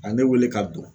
A ye ne wele ka don